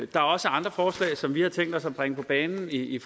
der er også andre forslag som vi har tænkt os at bringe på bane i